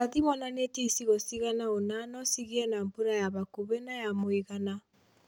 Ũrathi wonanĩtie icigo cigana ũna no cigĩe na mbũra ya hakuhĩ na ya mũigana